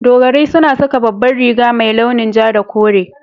Dogarai suna saka babbar riga mai launin ja da kore.